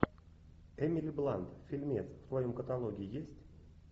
эмили блант фильмец в твоем каталоге есть